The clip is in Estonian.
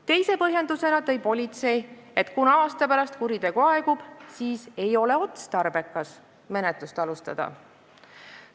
Teise põhjendusena tõi politsei välja, et kuna kuritegu aasta pärast aegub, siis ei ole otstarbekas menetlust alustada.